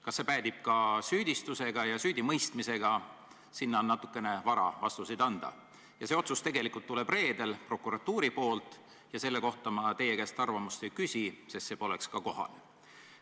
Kas see päädib ka süüdistuse ja süüdimõistmisega, sellele on natukene vara vastuseid anda – see otsus tuleb reedel prokuratuurilt ja selle kohta ma teie käest arvamust ei küsi, sest see poleks ka kohane.